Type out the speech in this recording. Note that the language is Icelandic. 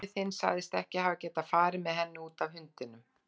Afi þinn sagðist ekki hafa getað farið með henni, út af hundinum.